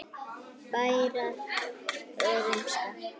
Bæjarar að rumska?